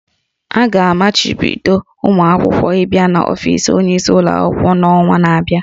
A ga-amachibido ụmụ akwụkwọ ịba n'ofis onyeisi ụlọ akwụkwọ n'ọnwa na-abịa